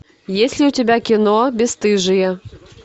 есть ли у тебя кино бесстыжие